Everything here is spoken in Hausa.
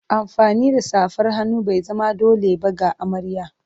Amfani da safar hannu bai zama dole ba ga amarya.